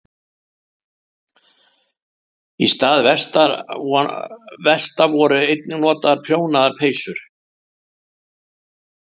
Í stað vesta voru einnig notaðar prjónaðar peysur.